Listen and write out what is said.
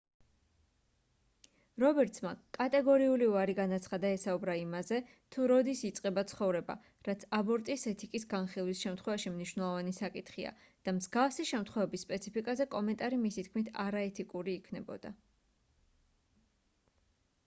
რობერტსმა კატეგორიული უარი განაცხადა ესაუბრა იმაზე თუ როდის იწყება ცხოვრება რაც აბორტის ეთიკის განხილვის შემთხვევაში მნიშვნელოვანი საკითხია და მსგავსი შემთხვევების სპეციფიკაზე კომენტარი მისი თქმით არაეთიკური იქნებოდა